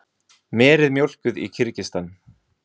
Meri mjólkuð í Kirgistan.